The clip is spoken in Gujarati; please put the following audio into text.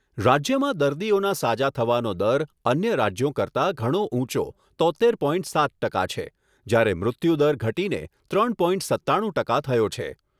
રાજ્યમાં દર્દીઓના સાજા થવાનો દર અન્ય રાજ્યો કરતાં ઘણો ઊંચો તોત્તેર પોઇન્ટ સાત ટકા છે, જ્યારે મૃત્યુદર ઘટીને ત્રણ પોઇન્ટ સત્તાણું ટકા થયો છે.